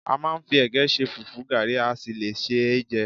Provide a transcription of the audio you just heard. A máa ń fi ẹ̀gẹ́ ṣe, fùfú, gàrí, a sì le sé e jẹ